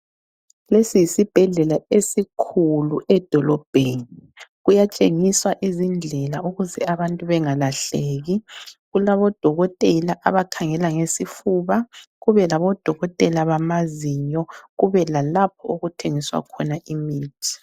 Lesi yisibhedlela esikhulu edolobheni. Kuyatshengiswa izindlela ukuze abantu bengalahleki. Kulabodokotela abakhangela ngesifuba ,kube labodokotela bamazinyo ,kube lalapho okuthengiswa khona imithi